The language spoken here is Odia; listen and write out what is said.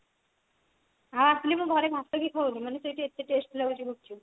ଆଉ ଆସିଲେ ମୁଁ ଘରେ ଭାତ ବି ଖାଉନି ମାନେ ସେଠି ଏତେ taste ଲାଗୁଛି ଗୁପ୍ଚୁପ